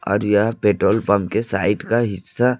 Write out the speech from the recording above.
और यह petrol pump के साइड का हिस्सा--